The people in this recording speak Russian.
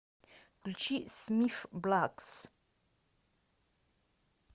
включи смиф блакс